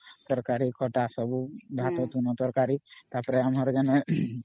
ତରକାରୀ ଖଟା ସବୁ ତା ପରେ ଭାତ ତୁଣ ତରକାରୀ ସବୁ ...